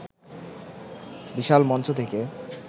বিশাল মঞ্চ থেকে